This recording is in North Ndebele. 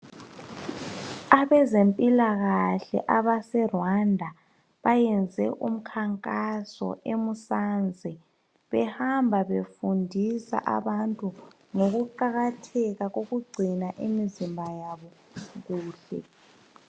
Abezempilakahle abase Rwanda bayenze umkhankaso eMusanze behamba befundisa abantu ngokuqakatheka kokugcina imizimba yabo kuhle.